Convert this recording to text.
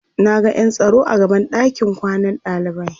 Naga ƴan tsaro a gaban ɗakin kwanan ɗalibai